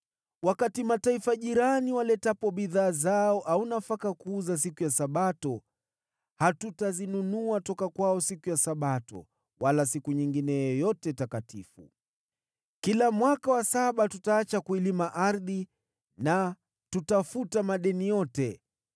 “Wakati mataifa jirani waletapo bidhaa zao au nafaka kuuza siku ya Sabato, hatutazinunua kutoka kwao siku ya Sabato, wala siku nyingine yoyote takatifu. Kila mwaka wa saba, tutaacha kuilima ardhi na tutafuta madeni yote.